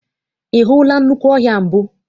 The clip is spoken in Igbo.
Ị hụla nnukwu ọhịa mbụ?